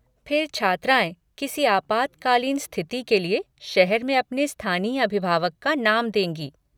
फिर छात्राएँ, किसी आपातकालीन स्तिथि के लिए, शहर में अपने स्थानीय अभिभावक का नाम देंगी।